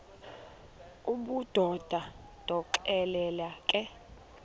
obudoda ndonixelela ke